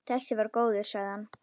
Þessi var góður, sagði hann.